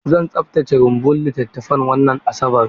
Zan tsaftace rumbun littattafan wannan Asabar.